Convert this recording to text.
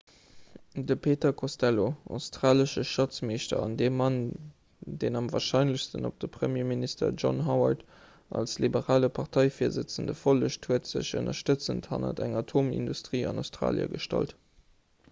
de peter costello australesche schatzmeeschter an dee mann deen am warscheinlechsten op de premierminister john howard als liberale parteivirsëtzende follegt huet sech ënnerstëtzend hanner eng atomindustrie an australie gestallt